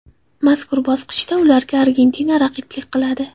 Mazkur bosqichda ularga Argentina raqiblik qiladi.